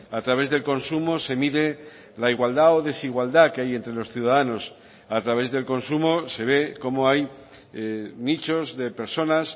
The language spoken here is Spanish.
a través del consumo se mide la igualdad o desigualdad que hay entre los ciudadanos a través del consumo se ve cómo hay nichos de personas